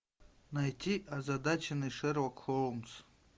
найти озадаченный шерлок холмс